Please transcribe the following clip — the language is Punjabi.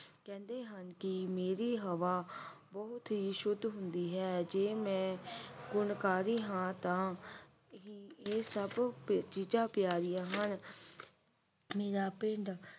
ਕਹਿੰਦੇ ਹਨ ਕਿ ਮੇਰੀ ਹਵਾ ਬਹੁਤ ਹੀ ਸ਼ੁੱਧ ਹੁੰਦੀ ਹੈ ਜੀ ਮੈਂ ਗੁਣਕਾਰੀ ਹਾਂ ਤਾਂ ਤੇ ਹੀ ਇਹ ਸਭ ਚੀਜ਼ਾਂ ਪਿਆਰੀਆਂ ਹਨ ਮੇਰਾ ਪਿੰਡ